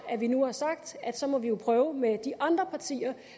vi nu har sagt at så må vi jo prøve med de andre partier